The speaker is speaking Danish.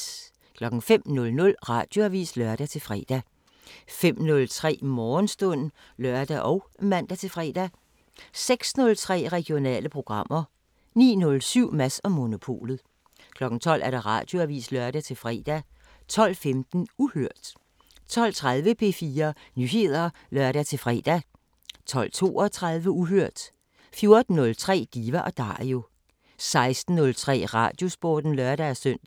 05:00: Radioavisen (lør-fre) 05:03: Morgenstund (lør og man-fre) 06:03: Regionale programmer 09:07: Mads & Monopolet 12:00: Radioavisen (lør-fre) 12:15: Uhørt 12:30: P4 Nyheder (lør-fre) 12:32: Uhørt 14:03: Diva & Dario 16:03: Radiosporten (lør-søn)